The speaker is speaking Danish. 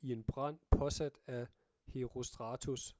i en brand påsat af herostratus